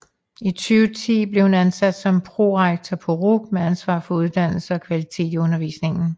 I 2010 blev hun ansat som prorektor på RUC med ansvar for uddannelse og kvalitet i undervisningen